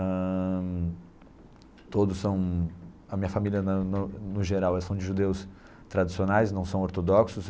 Ãh todos são a minha família, na no no geral, são de judeus tradicionais, não são ortodoxos.